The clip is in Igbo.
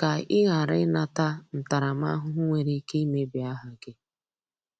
ka ị ghara ị nata ntaramahụhụ nwere ike imebi aha gị